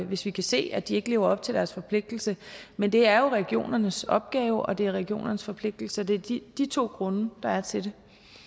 hvis vi kan se at de ikke lever op til deres forpligtelse men det er jo regionernes opgave og det er regionernes forpligtelse så det er de de to grunde der er til det